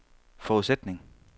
forudsætning